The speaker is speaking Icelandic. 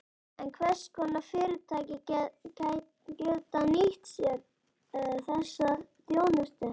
En hvers konar fyrirtæki geta nýtt sér þessa þjónustu?